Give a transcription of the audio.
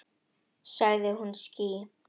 Sagði hún ský?